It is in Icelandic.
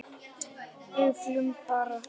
Öllum þeim ber að þakka.